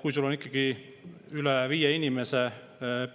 Kui sul on ikkagi üle viie